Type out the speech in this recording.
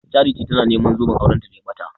Charity tana neman zoben auranta da ya ɓata.